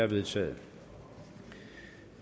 vedtaget